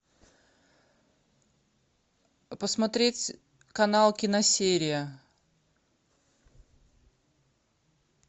посмотреть канал киносерия